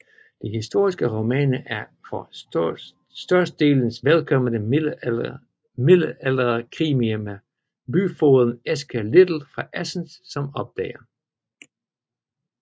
De historiske romaner er for størstedelens vedkommende middelalderkrimier med byfogeden Eske Litle fra Assens som opdager